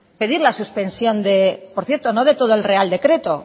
pedir la suspensión por cierto no de todo el real decreto